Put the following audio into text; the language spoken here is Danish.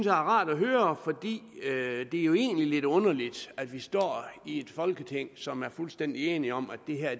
rart at høre for det er jo egentlig lidt underligt at vi står i et folketing som er fuldstændig enige om at det her